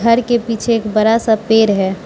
घर के पीछे एक बड़ा सा पेड़ है।